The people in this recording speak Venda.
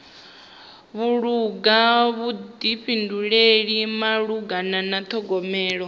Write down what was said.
vhulunga vhuḓifhinduleli malugana na ṱhogomelo